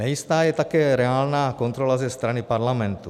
Nejistá je také reálná kontrola ze strany parlamentu.